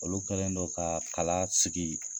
Olu kɛlen don ka kala sigi